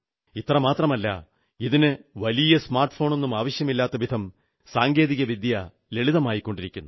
ഇത്രമാത്രമല്ല ഇതിന് വലിയ സ്മാർട് ഫോണൊന്നും ആവശ്യമില്ലാത്തവിധം സാങ്കേതികവിദ്യ ലളിതമായിക്കൊണ്ടിരിക്കുന്നു